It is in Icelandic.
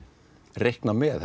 reikna með